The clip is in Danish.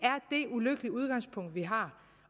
ulykkelige udgangspunkt vi har